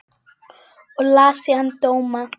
Og las síðan dóma.